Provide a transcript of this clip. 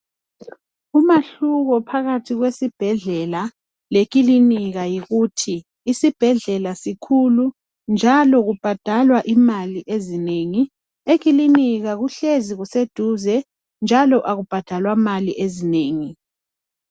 Umahluko phakathi kwesibhedlela lekiliniika yikuthi isibhedlela sikhulu njalo Kubhadalwa imali ezinengi ekilinika kuhlezi kuseduze njalo akubhadalwa mali ezinengi